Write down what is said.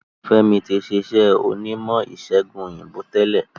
F'emi tí ṣe iṣé onímò ìsègùn òyìnbó tẹlẹ